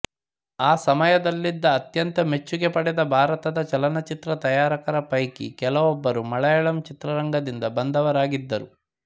ಆ ಸಮಯದಲ್ಲಿದ್ದ ಅತ್ಯಂತ ಮೆಚ್ಚುಗೆ ಪಡೆದ ಭಾರತದ ಚಲನಚಿತ್ರ ತಯಾರಕರ ಪೈಕಿ ಕೆಲವೊಬ್ಬರು ಮಲಯಾಳಂ ಚಿತ್ರರಂಗದಿಂದ ಬಂದವರಾಗಿದ್ದರು